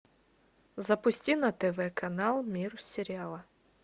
запусти на тв канал мир сериала